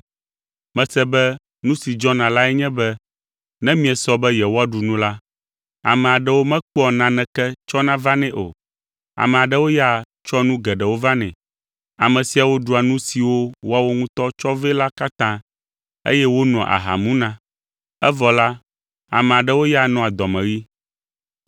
Mese be nu si dzɔna lae nye be ne miesɔ be yewoaɖu nu la, ame aɖewo mekpɔa naneke tsɔna vanɛ o. Ame aɖewo ya tsɔa nu geɖewo vanɛ. Ame siawo ɖua nu siwo woawo ŋutɔ tsɔ vɛ la katã, eye wonoa aha muna. Evɔ la, ame aɖewo ya nɔa dɔmeɣi.